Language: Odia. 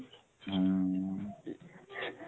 ଉଁ